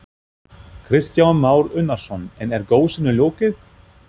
Kristján Már Unnarsson: En er gosinu lokið?